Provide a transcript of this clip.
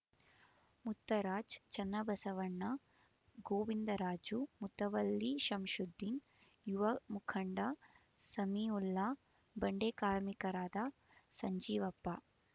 ಮುತ್ತರಾಜ್ ಚನ್ನಬಸವಣ್ಣ ಗೋವಿಂದರಾಜು ಮುತವಲ್ಲಿ ಶಂಷುದ್ದೀನ್ ಯುವ ಮುಖಂಡ ಸಮೀಉಲ್ಲಾ ಬಂಡೆ ಕಾರ್ಮಿಕರಾದ ಸಂಜೀವಪ್ಪ